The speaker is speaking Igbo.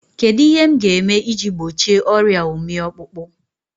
Kedụ ihe m ga-eme iji gbochie ọrịa ụmị ọkpụkpụ?